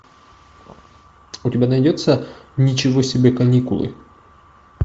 у тебя найдется ничего себе каникулы